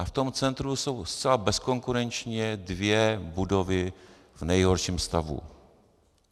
A v tom centru jsou zcela bezkonkurenčně dvě budovy v nejhorším stavu.